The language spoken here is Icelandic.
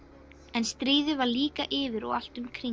En stríðið var líka yfir og allt um kring.